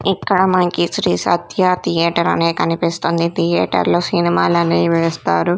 ఇక్కడ మనకి శ్రీ సత్య థియేటర్ అనే కనిపిస్తుంది థియేటర్ లో సినిమాలు అనేవి వేస్తారు.